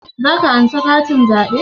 Za ka ansa katin zaɓe?